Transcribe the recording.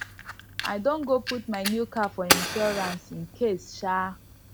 i don go put my new car for insurance incase um